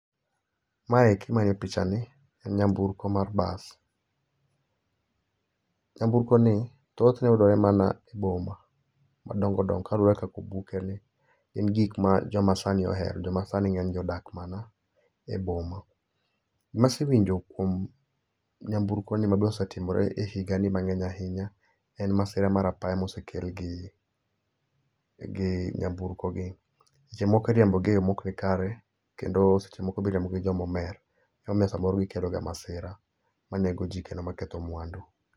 Maeki manie pichani en nyamburko mar bas, nyamburko ni thothne oyudore mana e boma ma dongo dongo kaluore gi kaka obukeni ,en gikma joma sani ohero, jomasani odak mana e boma. Gima asewinjo kuom nyamburko ni mabende osetimore higani ahinya en masira mar apaya ma osekel gi, gi nyamburko gi. Seche moko iriembogi e yoo maok ni kare kendo seche moko be iriembo gi ngama omer momiyo samoro gikelo masira ma nego jii kendo ketho mwandu